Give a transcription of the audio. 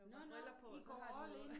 Nåh nåh I går all in